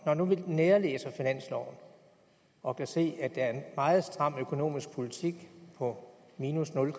når nu vi nærlæser finansloven og kan se at der er en meget stram økonomisk politik på minus nul i